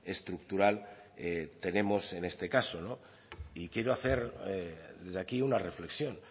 estructural tenemos en este caso no y quiero hacer desde aquí una reflexión